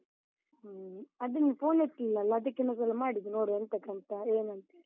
ಹ್ಮ್, ಅದು ನೀನ್ phone ಎತ್ಲಿಲ್ಲಲ್ಲ, ಅದಕ್ಕೆ ಇನ್ನೊಂದ್ಸಲ ಮಾಡಿದ್ದು, ನೋಡ್ವ ಎಂತಕ್ಕಂತ, ಏನಂತೇಳಿ?